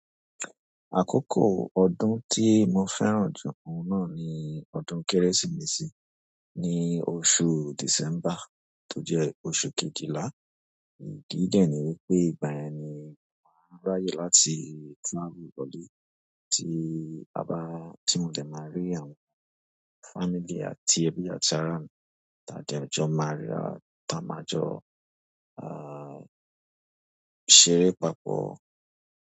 Àkókò ọdún tí mo fẹ́ràn ju, ohun náà ni ọdún Kérésìmesì, ní oṣù December tó jẹ́ oṣù kejìlá, idi dẹ́niwípé ìgbà yẹn ni mo n ráyè láti travel lọlé tí A bá, tí mo dẹ̀ ma rí àwọn family àti ẹbí àti àrà mi tà de jọ́ máa ríra, tà máa jo ṣeré papọ̀